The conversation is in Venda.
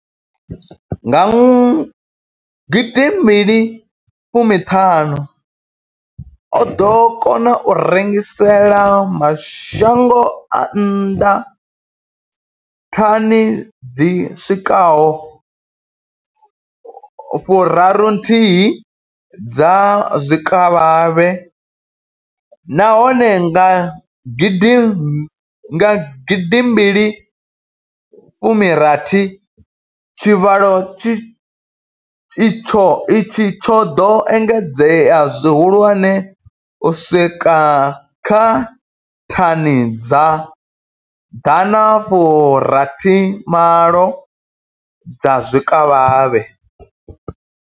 Nga gidi mbili fumi ṱhanu, o ḓo kona u rengisela mashango a nnḓa thani dzi swikaho fu raru nthihi dza zwikavhavhe, nahone nga gidi mbili fumi rathi tshivhalo itshi tsho ḓo engedzea zwihulwane u swika kha thani dza ḓana fu rathi malo dza zwikavhavhe.